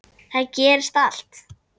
Þar gerist allt.